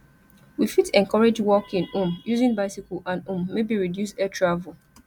we fit encourage walking um using bicycle and um maybe reduce air travel